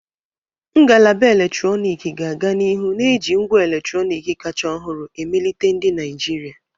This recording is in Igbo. Ngalaba eletrọnịkị ga-aga n'ihu na-eji ngwa eletrọnịkị kacha ọhụrụ emelite ndị Naijiria.